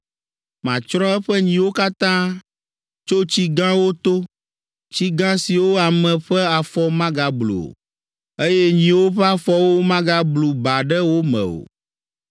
Matsrɔ̃ eƒe nyiwo katã Tso tsi gãwo to, Tsi gã siwo ame ƒe afɔ magablu o, Eye nyiwo ƒe afɔwo magablu ba ɖe wo me o.